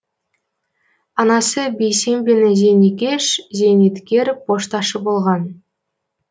анасы бейсембина зейнекеш зейнеткер пошташы болған